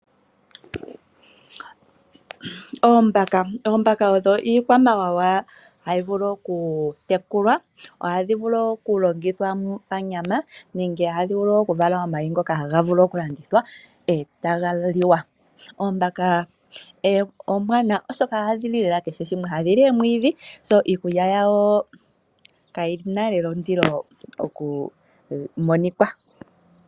Oombaka, oombaka odho iikwamawawa hayi vulu oku tekulwa. Ohadhi vulu wo oku longithwa panyama nenge ohadhi vulu wo oku vala omayi ngoka haga vulu oku landithwa etaga liwa. Oombaka ombwanawa oshoka ohadhi li lela kehe shimwe. Ohadhi li oomwiidhi, iikulya yadho kayina naana ondilo oku monika.